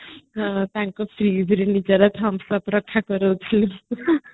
ତାଙ୍କ freeze ଆମେ ସବୁ